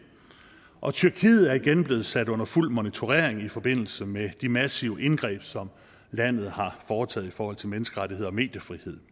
og tyrkiet er igen blev sat under fuld monitorering i forbindelse med de massive indgreb som landet har foretaget i forhold til menneskerettigheder og mediefrihed